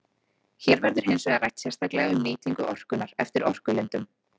Hér verður hins vegar rætt sérstaklega um nýtingu orkunnar eftir orkulindum.